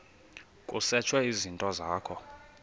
kusetshwe izinto zakho